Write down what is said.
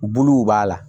Buluw b'a la